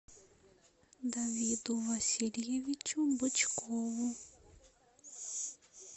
давиду васильевичу бычкову